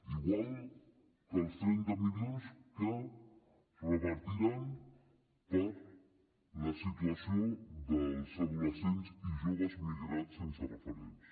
igual que els trenta milions que es repartiran per la situació dels adolescents i joves migrats sense referents